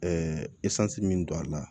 min don a la